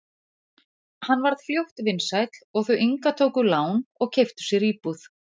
Hann varð fljótt vinsæll og þau Inga tóku lán og keyptu sér íbúð.